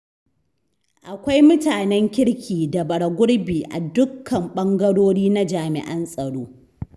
Akwai mutanen kirki da bara gurbi a dukkan ɓangarori na jami'an tsaro.